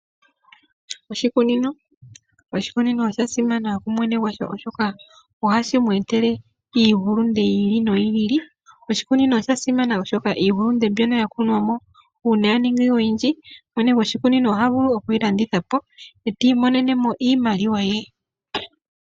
Oshikunino ,oshikunino osha simana ku mwene gwasho oshoka ohashi mwetele iiyimati yili noyili. Oshikunino osha simana oshoka iiyimati mbyono ya kunwa mo uuna ya ningimo oyindji mwene goshikunino ohaga vulu okuyi landithapo eti monene iimaliwa ye.